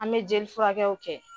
An bɛ jeli furakɛw kɛ.